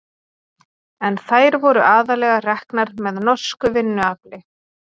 En þær voru aðallega reknar með norsku vinnuafli.